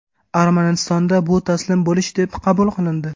Armanistonda bu taslim bo‘lish deb qabul qilindi.